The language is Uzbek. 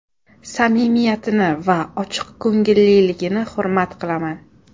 Samimiyatini va ochiqko‘ngilligini hurmat qilaman.